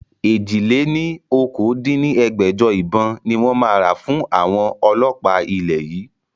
èjì-lé-ní-okòó dín ní ẹgbẹ́jọ ìbọn ni wọn máa ra fún àwọn ọlọ́pa ilẹ̀ yìí